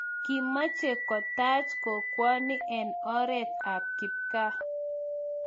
Kimeche ketaach kokwoni en oreet ap kipkaa.